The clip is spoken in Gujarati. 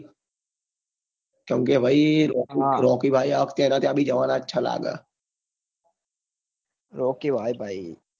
ચમ કે ભાઈ રોકી ભાઈ આ વખતે એના ત્યાં બ જવાના જ છ લાગે રોકી ભાઈ ભાઈ